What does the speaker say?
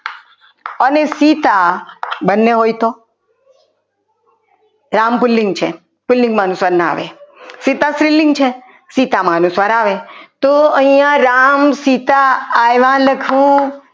અને સીતા બંને હોય તો રામ પુલ્લિંગ છે પુલ્લિંગમાં અનુસ્વાર ના આવે સીતા સ્ત્રીલિંગ છે સ્ત્રીલિંગમાં અનુસ્વાર આવે તો અહીંયા રામ સીતા આવ્યા લખ્યું લખવું.